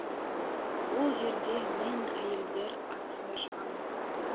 ол жерде мен әйелдер арасында шығамын